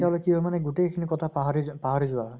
তেতিয়াহলে কি হয় মানে গোটেই খিনি পাহাৰি যেন পাহৰি যোৱা হয়